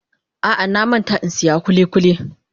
A'a, na manta in siyan kulikuli.